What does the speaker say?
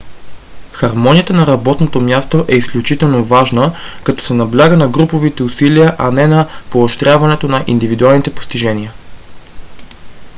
хармонията на работното място е изключително важна като се набляга на груповите усилия а не на поощряването на индивидуалните постижения